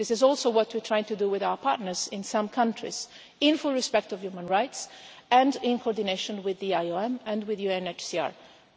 This is also what we are trying to do with our partners in some countries, in full respect of human rights, and in coordination with the IOM and with UNHCR.